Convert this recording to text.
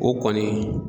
O kɔni